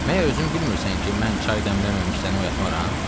"Məyər özün bilmirsən ki, mən çay dəmləməmiş səni oyatmaram?"